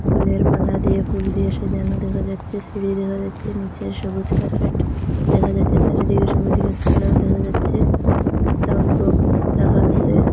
ফুলের মালা দিয়ে ফুল দিয়ে সাজানো দেখা যাচ্ছে সিঁড়ি দেখা যাচ্ছে নীচে সবুজ কার্পেট দেখা যাচ্ছে চারিদিকে সবুজ গাসপালাও দেখা যাচ্ছে সাউন্ড বক্স রাখা আসে ।